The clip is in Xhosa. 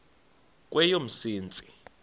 kweyomsintsi